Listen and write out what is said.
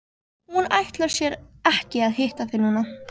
Hún ætlar sér ekki að hitta þig núna.